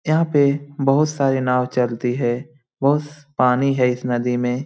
यहाँ पे बहुत सारे नाव चलती है। बहुत स पानी है इस नदी में।